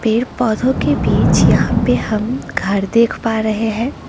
पेड़ पौधों के बीच यहां पे हम घर देख पा रहे हैं।